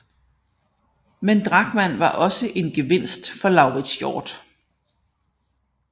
Men Drachmann var også en gevinst for Lauritz Hjort